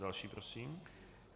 Další prosím.